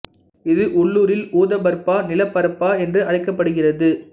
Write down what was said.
இது உள்ளூரில் உத பர்பா நில பர்பா என்று அழைக்கப்படுகிறது